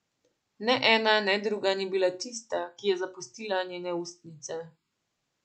Ne ena ne druga ni bila tista, ki je zapustila njene ustnice.